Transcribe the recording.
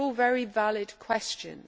These are all very valid questions.